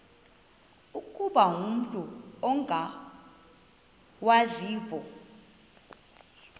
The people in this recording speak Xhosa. ukuba umut ongawazivo